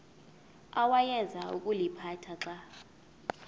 awayeza kuliphatha xa